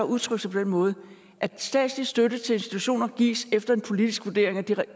udtrykt sig på den måde at den statslige støtte til institutioner gives efter en politisk vurdering af det